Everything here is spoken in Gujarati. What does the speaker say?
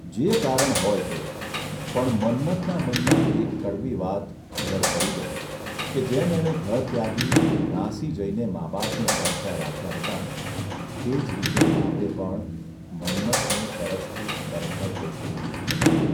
જે કારણ હોય તે પણ મન્મથના મનમાં એક કડવી વાત ઘર કરી ગઇ કે જેમ એણે ઘર ત્યાગી નાસી જઇને મા બાપને તરસ્યાં રાખ્યાં હતાં તેજ રીતે બાપે પણ મન્મથને તરસથી તરફડતો છોડી દીધો હતો.